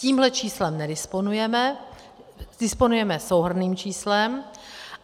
Tímhle číslem nedisponujeme, disponujeme souhrnným číslem.